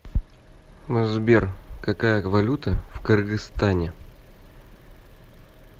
сбер какая валюта в кыргызстане